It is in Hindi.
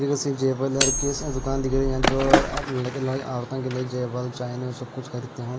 जेवलर की दुकान दिख रही है जो लड़के और के लिए जेवल चाइनो सब कुछ खरीदते हैं।